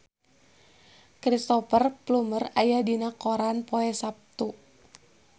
Cristhoper Plumer aya dina koran poe Saptu